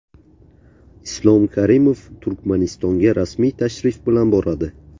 Islom Karimov Turkmanistonga rasmiy tashrif bilan boradi.